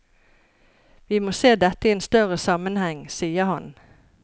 Vi må se dette i en større sammenheng, sier han.